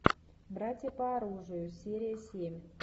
братья по оружию серия семь